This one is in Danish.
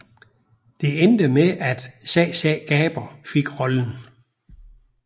Det endte med at Zsa Zsa Gabor fik rollen